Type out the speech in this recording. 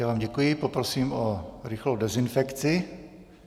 Já vám děkuji, poprosím o rychlou dezinfekci.